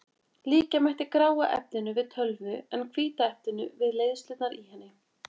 Líkja mætti gráa efninu við tölvu en hvíta efninu við leiðslurnar í henni.